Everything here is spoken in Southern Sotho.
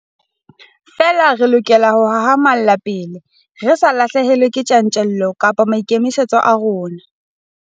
Feela re lokela ho hahamalla pele, re sa lahlehelwe ke tjantjello kapa maikemisetso a rona.